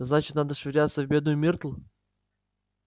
значит надо швыряться в бедную миртл